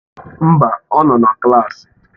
Mba, ọ nọ na klaasị.